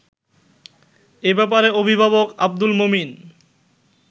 এ ব্যাপারে অভিভাবক আব্দুল মমিন